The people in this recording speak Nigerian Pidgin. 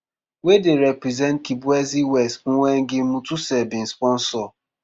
wey dey represent kibwezi west mwengi mutuse bin sponsor